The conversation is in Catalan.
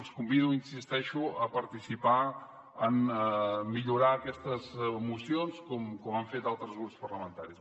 els convido hi insisteixo a participar en millorar aquestes mocions com han fet altres grups parlamentaris